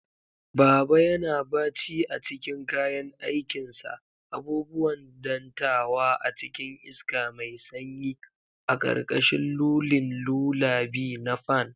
Baba yana baci a cikin kayan aikinsa, abubuwan dantawa a cikin iska mai sanyi, a karkashin lulling lullaby na fan.